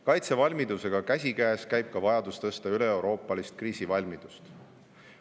Kaitsevalmidusega käsikäes käib ka vajadus tõsta üleeuroopalist kriisivalmidust.